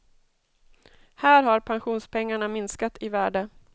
Här har pensionspengarna minskat i värde.